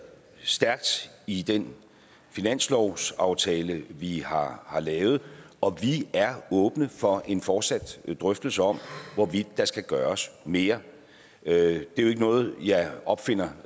stærkt i den finanslovsaftale vi har lavet og vi er åbne for en fortsat drøftelse om hvorvidt der skal gøres mere det er jo ikke noget jeg opfinder